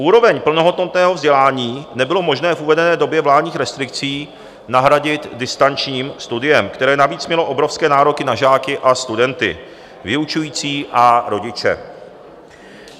Úroveň plnohodnotného vzdělání nebylo možné v uvedené době vládních restrikcí nahradit distančním studiem, které navíc mělo obrovské nároky na žáky a studenty, vyučující a rodiče.